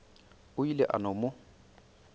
o ile a no mo